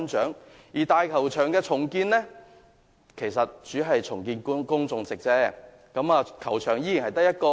至於大球場的重建工程，主要是重建觀眾席，但依然只得一個球場。